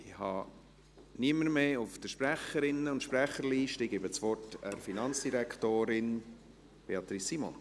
Ich habe niemanden mehr auf der Sprecherinnen- und Sprecherliste und gebe das Wort der Finanzdirektorin Beatrice Simon.